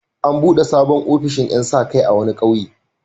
An buɗe sabon ofishin ƴan sa-kai a wani ƙauye.